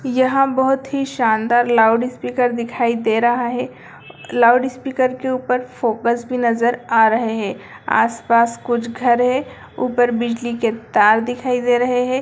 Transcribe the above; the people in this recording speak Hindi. यहाँ बहुत ही शानदार लाउडस्पीकर दिखाई दे रहा है लाउडस्पीकर के ऊपर फोकस भी नजर आ रहे है आस-पास कुछ घर है ऊपर बिजली के तार दिखाई दे रहे है।